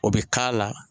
O bɛ k'a la